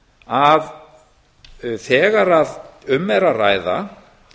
að þegar að um er að ræða